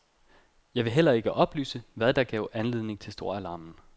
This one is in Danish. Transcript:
Jeg vil heller ikke oplyse, hvad der gav anledning til storalarmen.